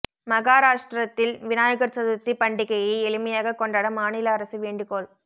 மகாராஷ்டிரத்தில் விநாயகா் சதுா்த்தி பண்டிகையை எளிமையாக கொண்டாட மாநில அரசு வேண்டுகோள்